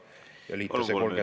Palun, kolm minutit lisaaega!